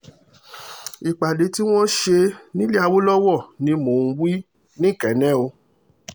ìpàdé tí wọ́n ṣe nílẹ̀ awolowo ni mò ń wí nikenne o